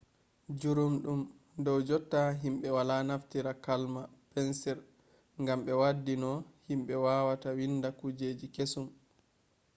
jurumɗum dow jotta himɓe wala naftira kalam pensil gam ɓe waddi no himɓe wawata winda kujeji kesum